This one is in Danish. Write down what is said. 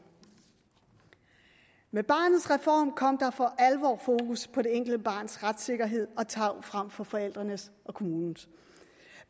med barnets reform kom der for alvor fokus på det enkelte barns retssikkerhed og tarv frem for forældrenes og kommunens